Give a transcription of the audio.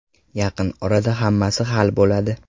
Yaqin orada hammasi hal bo‘ladi.